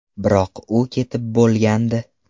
Biroq u ketib bo‘lgandi”.